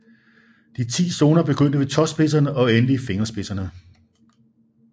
De 10 zoner begyndte ved tåspidserne og endte i fingerspidserne